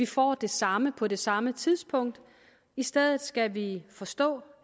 får det samme på det samme tidspunkt i stedet skal vi forstå